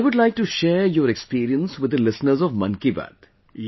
I would like to share your experience with the listeners of 'Mann Ki Baat'